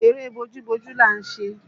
Eré bójú bojú là ń ṣe